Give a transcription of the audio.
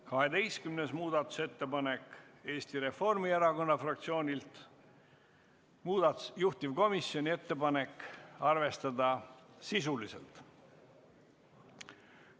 12. muudatusettepanek on Eesti Reformierakonna fraktsioonilt, juhtivkomisjoni ettepanek on arvestada seda sisuliselt.